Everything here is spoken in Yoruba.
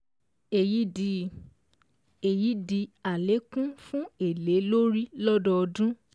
Èyí di Èyí di àlékún fún èlé lórí lọ́dọọdún